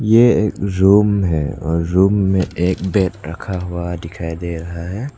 ये एक रूम है और रूम में एक बेड रखा हुआ दिखाई दे रहा है।